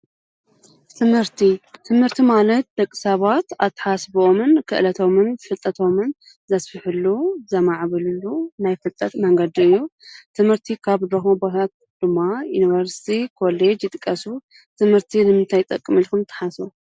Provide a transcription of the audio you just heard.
ትምህርቲ፣ ትምህርቲ ማለት ደቕሳባት ኣትሓሳስብኦምን፣ ክእለቶምን፣ ፍጠቶምን ዘስፊሑሉ ዘማዕብሉሉ ናይ ፍልጠት መንገድ እዩ። ትምህርቲ ካብ ዘለዎ ቦታታት ድማ ዩንበርስቲ፣ ኮሌጅ ይጥቀሱ። ትምህርቲ ንምንታይ ይጠቕም ኢልኩን ትሓስቡ?